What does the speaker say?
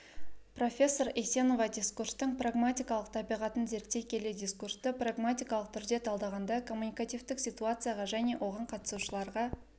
профессор есенова дискурстың прагматикалық табиғатын зерттей келе дискурсты прагматикалық түрде талдағанда коммуникативтік ситуацияға және оған қатысушыларға